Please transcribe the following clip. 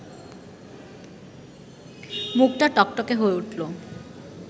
মুখটা টকটকে হয়ে উঠল